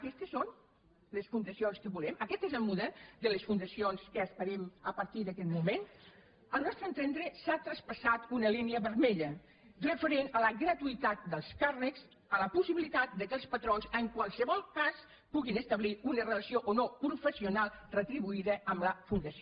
aquestes són les fundacions que volem aquest és el model de les fundacions que esperem a partir d’aquest moment al nostre entendre s’ha traspassat una línia vermella referent a la gratuïtat dels càrrecs a la possibilitat que els patrons en qualsevol cas puguin establir una rela·ció o no professional retribuïda amb la fundació